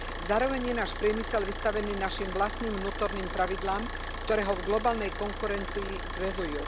Zároveň je náš priemysel vystavený našim vlastným vnútorným pravidlám, ktoré ho v globálnej konkurencii zväzujú.